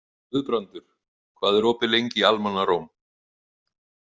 Guðbrandur, hvað er opið lengi í Almannaróm?